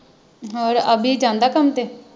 ਹੋਰ ਅਵੀ ਜਾਂਦਾ ਕੰਮ